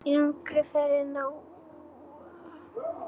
Þungu fargi af mér létt.